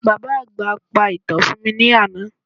Bàbá àgbà pa ìtàn fún mi ní àná